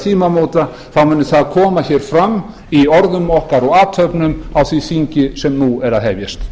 tímamóta muni það koma hér fram í orðum okkar og athöfnum á því þingi sem nú er að hefjast